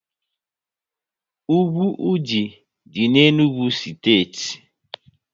Úgwù Ụdị dị n'Enugu steeti